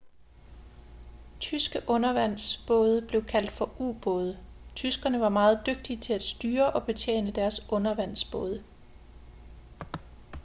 tyske undervandsbåde blev kaldt for u-både tyskerne var meget dygtige til at styre og betjene deres undervandsbåde